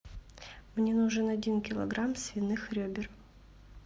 мне нужен один килограмм свиных ребер